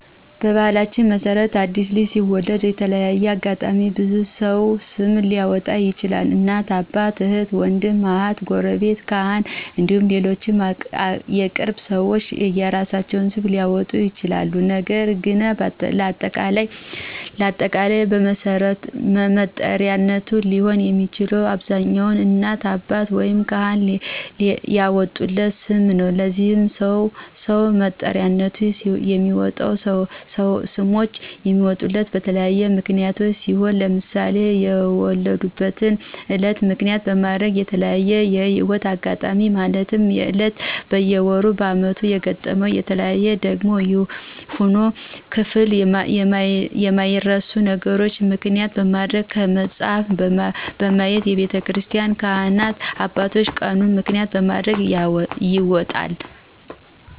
በባህላችን መሰረት አዲስ ልጅ ሲወለድ በተለያየ አጋጣሚ ብዙ ሰው ስም ሊአወጣለት ይችላል እናት፣ አባት፣ እህት፣ ውንድም፣ አሀት፣ ጉረቤት፣ ካህን እንዲሁም ሌሎች የቅርብ ሰዎች የየእራሳቸውን ስም ሊአወጡ ይችላል ነገር ግን ለአጠቃላይ መጠሪያነት ሊሆን የሚችለው በአብዛኛው እናትና አባት ወይም ካህን ያወጡለት ስም ነው። ለዚህ ሰው መጥሪያነት የሚወጡ ስሞች የሚወጡት በተለያዩ ምክንያቶች ሲሆን ለምሳሌ የተወለዱበትን እለት ምክንያት በማድረግ፣ በተለያዪ የህይወት እጋጣሚዎች ማለትም በእለቱ፣ በወሩ፣ በአመቱ የገጠሙና የታዩ ደግም ይሁን ክፍል የማይረሱ ነገሮችን ምክንያት በማድረግ፣ ከመጽሀፍ በማየት፣ በቤተክርስቲን ካህናት አባቶች ቀኑን ምክንያት በማድረግ ይወጣል።